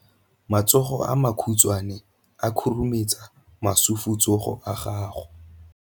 Matsogo a makhutshwane a khurumetsa masufutsogo a gago.